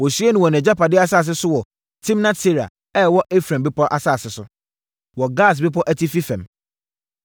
Wɔsiee no wɔ nʼagyapadeɛ asase so wɔ Timnat-Sera a ɛwɔ Efraim bepɔ asase so, wɔ Gaas Bepɔ atifi fam.